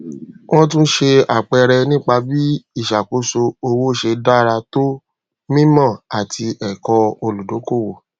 wọn tún ṣe àpẹẹrẹ nípa bí ìṣàkóso owó ṣe dára tó mímọ àti ẹkọ olùdókòwò